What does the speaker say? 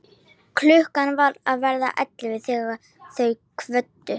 Klukkan var að verða ellefu þegar þau kvöddu.